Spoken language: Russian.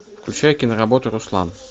включай киноработу руслан